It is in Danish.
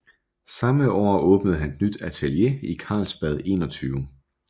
Samme år åbnede han et nyt atelier i Karlsbad 21